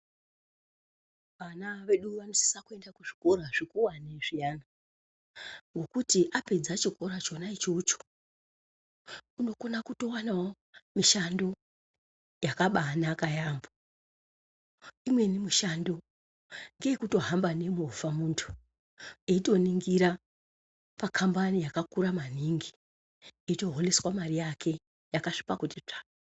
Vana vedu vanosisa kuenda kuzvikora zvikuwane zviyana, ngokuti apedza chikora chona ichocho unokona kutowanawo mushando yakabaanaka yaamho, imweni mishando ngeyekutohamba nemovha munthu eitoningira pakambani yakakura maningi, eitoholeswa mare yake yakasvipa kuti tsvaa.